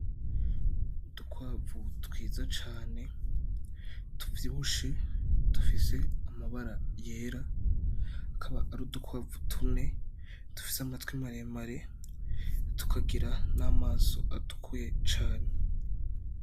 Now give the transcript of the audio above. Udukwavu twiza cane tuvyibushe dufise amabara yera. Akaba ari udukwavu tune dufise amatwi maremare, tukagira n'amaso atukuye cane.